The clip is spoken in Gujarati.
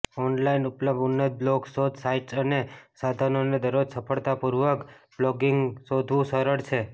ઑનલાઇન ઉપલબ્ધ ઉન્નત બ્લોગ શોધ સાઇટ્સ અને સાધનોને દરરોજ સરળતાપૂર્વક બ્લોગિંગ શોધવું સરળ છે